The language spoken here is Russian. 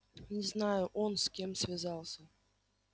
не знаю он с кем связался